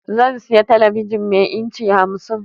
Zan siya talabijin mai inci 50